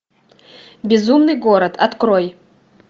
безумный город открой